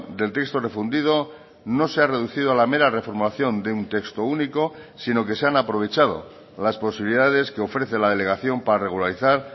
del texto refundido no se ha reducido a la mera reformación de un texto único sino que se han aprovechado las posibilidades que ofrece la delegación para regularizar